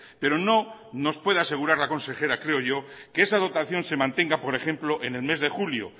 pero no nos puede asegurar la consejera creo yo que esa dotación se mantenga por ejemplo en el mes de julio